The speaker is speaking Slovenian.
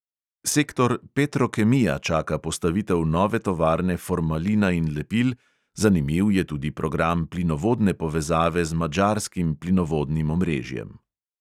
Sektor petrokemija čaka postavitev nove tovarne formalina in lepil, zanimiv je tudi program plinovodne povezave z madžarskim plinovodnim omrežjem.